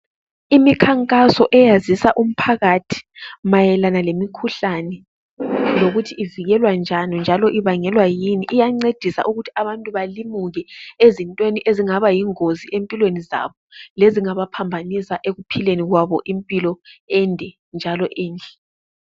Imikhankaso eyazisa umphakathi mayelana lemikhuhlane lokuthi ivikelwa njani njalo ibangelwa yini. Iyancedisa ukuthi abantu balimuke ezintweni ezingabayingozi empilweni zabo lezingabaphambanisa ekuphileni kwabo impilo ende njalo enhle.